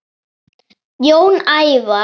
Jón Ævar.